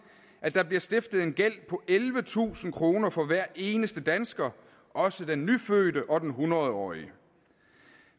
at der bliver stiftet en gæld på ellevetusind kroner for hver eneste dansker også den nyfødte og den hundrede årige